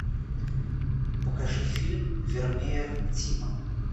покажи фильм вермеер тима